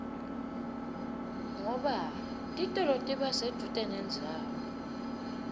ngoba titolo tiba sedvute nendzawo